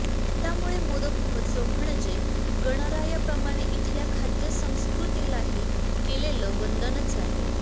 त्यामुळे मोदक महोत्सव म्हणजे गणरायाप्रमाणे इथल्या खाद्यसंस्कृतीलाही केलेलं वंदनच आहे